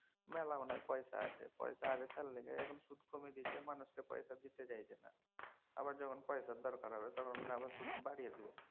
মেলা মনে হয় পয়সা আছে। পয়সা আছে তার লিগাই মনে হয় সুদ কমিয়ে দিয়েছে। মানুষকে পয়সা দিতে চাইছে না। আবা রজখন পয়সার দরকার হবে তখন আবার সুদ বাড়িয়ে দিবে।